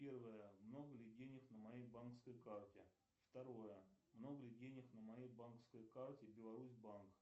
первое много ли денег на моей банковской карте второе много ли денег на моей банковской карте беларусьбанк